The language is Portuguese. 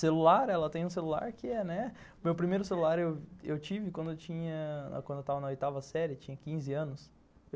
Celular, ela tem um celular que é...né. Meu primeiro celular eu tive quando eu estava na oitava série, eu tinha quinze anos.